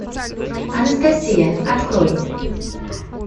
анастасия открой